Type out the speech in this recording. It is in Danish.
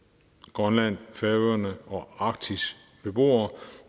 grønland færøerne og arktis beboere